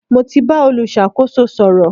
Mo ti bá olùṣàkóso sọ̀rọ̀.